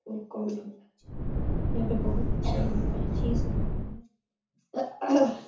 और कोण होना चाहिए यहाँ पे बहोत अच्छा लग पर --